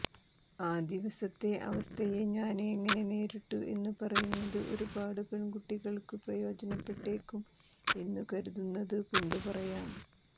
ആ ദിവസത്തെ അവസ്ഥയെ ഞാന് എങ്ങനെ നേരിട്ടു എന്നു പറയുന്നതു ഒരുപാടു പെണ്കുട്ടികള്ക്കു പ്രയോജനപ്പെട്ടേക്കും എന്നു കരുതുന്നതു കൊണ്ടു പറയാം